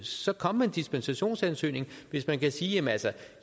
så kom med en dispensationsansøgning hvis man kan sige